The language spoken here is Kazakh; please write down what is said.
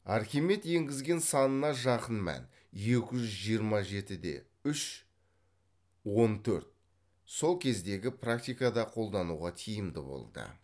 архимед енгізген санына жақын мән екі жүз жиырма жеті де үш он төрт сол кездегі практикада қолдануға тиімді болды